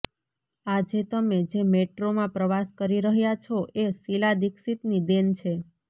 આજે તમે જે મેટ્રોમાં પ્રવાસ કરી રહ્યા છો એ શીલા દીક્ષિતની દેન છે